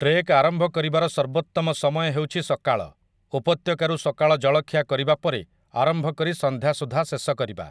Trek ଆରମ୍ଭ କରିବାର ସର୍ବୋତ୍ତମ ସମୟ ହେଉଛି ସକାଳ, ଉପତ୍ୟକାରୁ ସକାଳ ଜଳଖିଆ କରିବା ପରେ ଆରମ୍ଭ କରି ସନ୍ଧ୍ୟା ସୁଦ୍ଧା ଶେଷ କରିବା ।